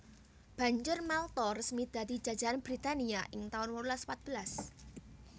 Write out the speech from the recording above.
Banjur Malta resmi dadi jajahan Britania ing taun wolulas patbelas